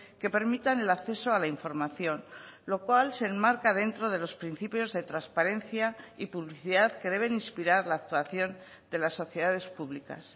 que permitan el acceso a la información lo cual se enmarca dentro de los principios de transparencia y publicidad que deben inspirar la actuación de las sociedades públicas